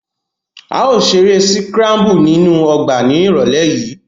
A yóò ṣe ere sikrambu ninu ọgba ni irọlẹ yii.